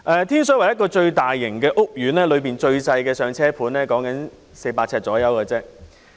天水圍一個最大型屋苑，當中最細小的"上車盤"約400平方呎。